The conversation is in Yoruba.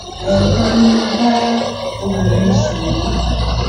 ẹẹkan ni mo bá obìnrin sùn rí